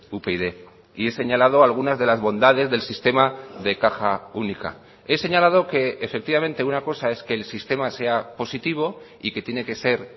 upyd y he señalado algunas de las bondades del sistema de caja única he señalado que efectivamente una cosa es que el sistema sea positivo y que tiene que ser